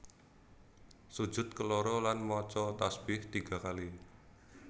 Sujud keloro lan maca tasbih tiga kali